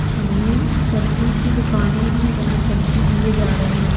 शामने सब्जी की दुकानें हैं जहाँ सब्जी दिए जा रहे हैं।